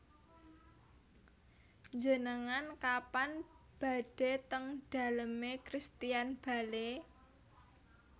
Njenengan kapan badhe teng dalem e Christian Bale